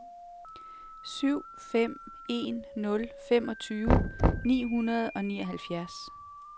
syv fem en nul femogtyve ni hundrede og nioghalvfjerds